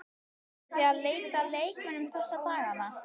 Eruð þið að leita að leikmönnum þessa dagana?